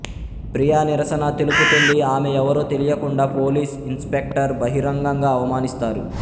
ప్రియా నిరసన తెలుపుతుంది ఆమె ఎవరో తెలియకుండా పోలీస్ ఇన్స్పెక్టర్ బహిరంగంగా అవమానిస్తారు